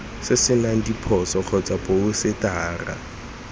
se senang diphoso kgotsa phousetara